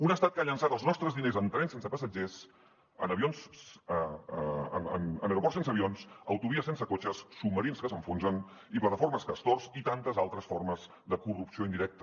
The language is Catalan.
un estat que ha llançat els nostres diners en trens sense passatgers en aeroports sense avions autovies sense cotxes submarins que s’enfonsen i plataformes castor i tantes altres formes de corrupció indirecta